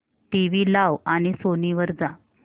TV लाव आणि Sony वर जा